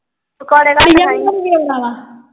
ਪਕੌੜੇ ਘੱਟ ਖਾਈ।